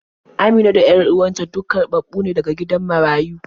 Amina da 'yan uwan ta duk karɓaɓɓu ne daga gidan marayu.